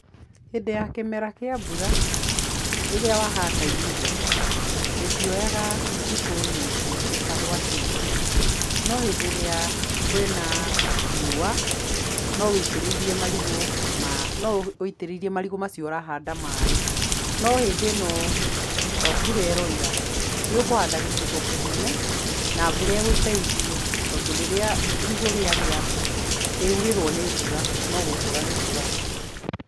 Hĩndĩ ya kĩmera kĩa mbura, rĩrĩa wahanda irigũ, rĩtioyaga thikũ nyingĩ rĩtagwatĩte, no hĩndĩ ĩra kwĩna riũa, no ũitĩrĩirie marigũ maĩ no ũitĩrĩirie marigũ macio ũrahanda maĩ, no hĩndĩ ĩno mbura ĩroira, nĩ ũkũhanda gĩcigo kĩnene, na mbura ĩgũteithie tondũ rĩrĩa irigũ rĩagĩa, rĩaurĩrwo nĩ mbura, no gũkũra rĩkũraga.